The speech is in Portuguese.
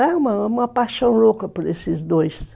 É uma paixão louca por esses dois.